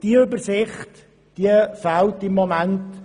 Diese Übersicht fehlt im Moment.